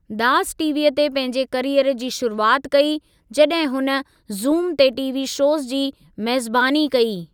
दास टीवीअ ते पंहिंजे कैरीयर जी शुरूआत कई, जॾहिं हुन ज़ूम ते टीवी शोज़ जी मेज़बानी कई।